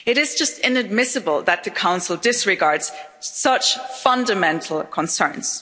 It is just inadmissible that the Council disregards such fundamental concerns.